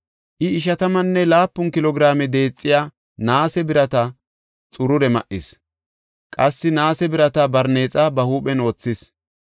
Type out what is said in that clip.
I ishatammanne laapun kilo giraame deexiya naase birata xurure ma7is; qassi naase birata barneexa ba huuphen wothis.